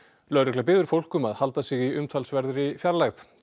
lögregla biður fólk að halda sig í umtalsverðri fjarlægð